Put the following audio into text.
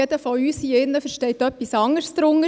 Jeder von uns hier drin versteht etwas anderes darunter.